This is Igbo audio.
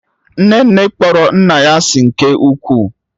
nnene kpọrọ nna ya asị nke ukwuu